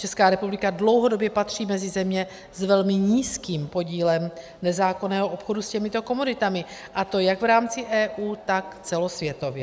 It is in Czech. Česká republika dlouhodobě patří mezi země s velmi nízkým podílem nezákonného obchodu s těmito komoditami, a to jak v rámci EU, tak celosvětově.